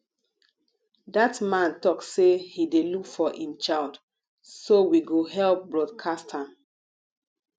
dat man talk say he dey look for im child so we go help broadcast am